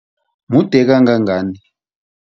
Mude kangangani?